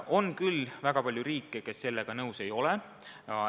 On küll väga palju riike, kes sellega nõus ei ole.